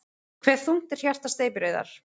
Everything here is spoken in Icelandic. Hve þungt er hjarta steypireyðar?